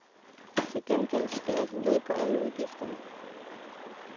Til gengæld skærer de ned på udgifterne.